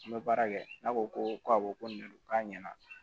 An bɛ baara kɛ n'a ko ko awɔ ko nin de don k'a ɲɛna